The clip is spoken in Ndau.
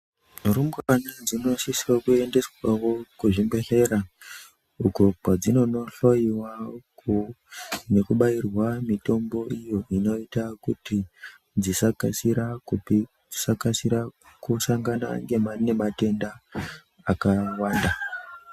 Rumbwana dzinosise kuendeswawo kuzvibhehleya uko kwadzinononhloyiwa nekubairwa mitombo iyo inoita kuti dzisakasira kusangana nematenda akawanda.